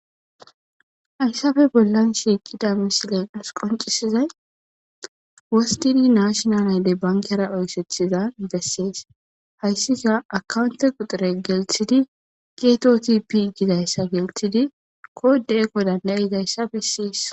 ayssafe bollan shiiqida misilen tasi qoncisizay wostini nashonal ayde bankera oysethizan bessees hayssika akawunte quxure gelthidi geeto tipi gizayssa gelthidi koode eko dandayizayssa besiyiss